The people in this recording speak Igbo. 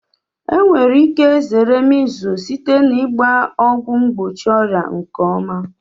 Enwere ike zere measles site na ịgba ọgwụ mgbochi ọrịa nke ọma.